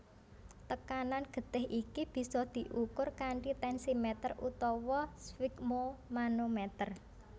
Tekanan getih iki bisa dikur kanthi tensimeter utawa sfigmomanometer